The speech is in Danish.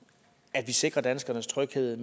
at vi sikrer danskernes tryghed